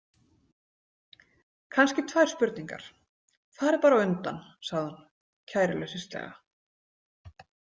Kannski tvær spurningar, farið bara á undan, sagði hún kæruleysislega.